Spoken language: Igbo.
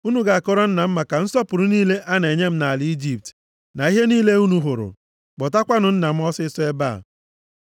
Unu ga-akọrọ nna m maka nsọpụrụ niile a na-enye m nʼala Ijipt na ihe niile unu hụrụ. Kpọtakwanụ nna m ọsịịsọ ebe a.”